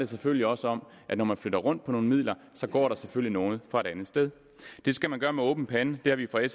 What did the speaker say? selvfølgelig også om at når man flytter rundt på nogle midler går der selvfølgelig noget fra et andet sted det skal man gøre med åben pande det har vi fra